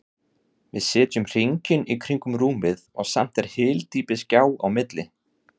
Við sitjum hringinn í kring um rúmið og samt er hyldýpisgjá á milli.